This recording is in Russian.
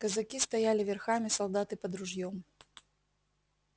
казаки стояли верхами солдаты под ружьём